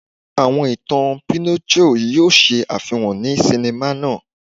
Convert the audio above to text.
Àwọn ìtàn Pinocchio yóò ṣe àfihàn ní sinima náà.